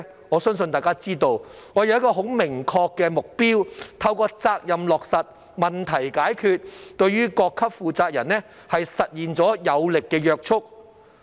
我相信大家也知道，我們要訂立一個很明確的目標，透過責任落實、問題解決，對各級負責人實現有力的約束。